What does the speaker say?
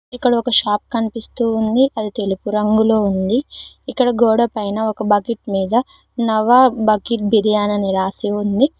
ఇక్కడ ఒక షాప్ కనిపిస్తూ ఉంది అది తెలుపు రంగులో ఉంది ఇక్కడ గోడ పైన ఒక బకెట్ మీద నవాబ్ బకెట్ బిర్యానీ అని రాసి ఉంది.